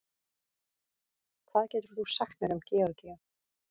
hvað getur þú sagt mér um georgíu